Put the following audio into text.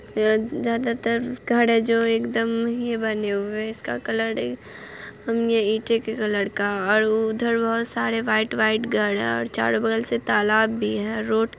यहाँ ज्यादातर घर जो है एकदम ही बने हुए है| इसका कलर ही ईंटे के कलर का और उधर बहुत सारे वाइट - वाइट घर है और चारो बगल से तालाब भी है| रोड --